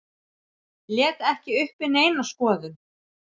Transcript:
Lét ekki uppi neina skoðun.